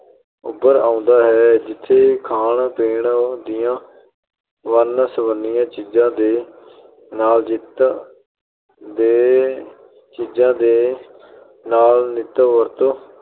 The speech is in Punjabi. ਉੱਭਰ ਆਉਂਦਾ ਹੈ, ਜਿੱਥੇ ਖਾਣ-ਪੀਣ ਦੀਆਂ ਵੰਨ-ਸਵੰਨੀਆਂ ਚੀਜ਼ਾ ਦੇ ਨਾਲ ਨਿੱਤ ਅਹ ਚੀਜ਼ਾ ਦੇ ਨਾਲ ਨਿੱਤ ਵਰਤੋਂ